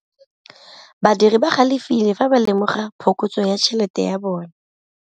Badiri ba galefile fa ba lemoga phokotsô ya tšhelête ya bone.